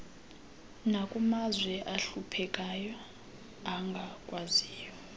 nakumazwe ahluphekayo angakwaziyo